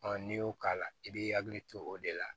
n'i y'o k'a la i b'i hakili to o de la